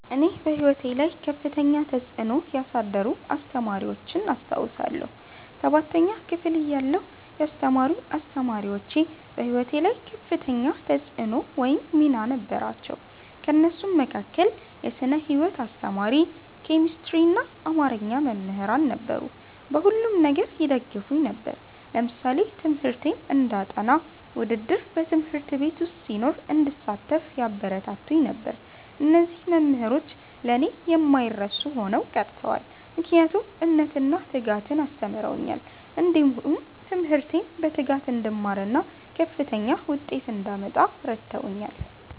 እኔ በሕይወቴ ላይ ከፍተኛ ተጽዕኖ ያሳደሩ አስተማሪዎችን አስታውሳለሁ። ሠባተኛ ክፍል እያለሁ ያስተማሩኝ አስተማሪዎች በህይወቴ ላይ ከፍተኛ ተፅዕኖ ወይም ሚና ነበራቸው። ከእነሱም መካከል የስነ ህይወት አስተማሪ፣ ኬሚስትሪና አማርኛ መምህራን ነበሩ። በሁሉም ነገር ይደግፉኝ ነበር። ለምሳሌ ትምህርቴን እንዳጠ፤ ውድድር በ ት/ቤት ዉስጥ ሲኖር እንድሳተፍ ያበረታቱኝ ነበር። እነዚህ መምህሮች ለእኔ የማይረሱ ሆነው ቀርተዋል። ምክንያቱም እምነትን እና ትጋትን አስተምረውኛል። እንዲሁም ትምህርቴን በትጋት እንድማርና ከፍተኛ ዉጤት እንዳመጣ እረድተውኛል።